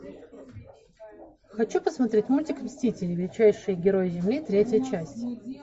хочу посмотреть мультик мстители величайшие герои земли третья часть